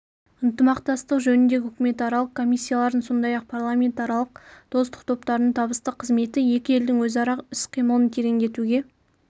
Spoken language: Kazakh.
ынтымақтастық жөніндегі үкіметаралық комиссиялардың сондай-ақ парламентаралық достық топтарының табысты қызметі екі елдің өзара іс-қимылын тереңдетуге